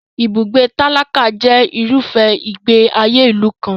Ibùgbé tálákà jẹ irúfẹ́ ìgbé ayé ìlú kan.